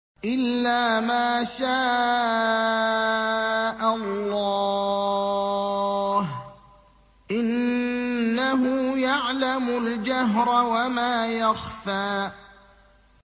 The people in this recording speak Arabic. إِلَّا مَا شَاءَ اللَّهُ ۚ إِنَّهُ يَعْلَمُ الْجَهْرَ وَمَا يَخْفَىٰ